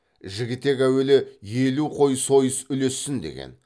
жігітек әуелі елу қой сойыс үлессін деген